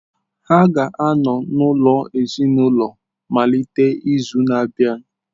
Ha ga-anọ n’ụlọ ezinaụlọ malite n’izu na-abịa.